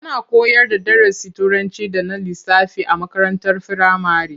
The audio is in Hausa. Ana koyarda darasin Turanci da na lissafi a makarantar firamare.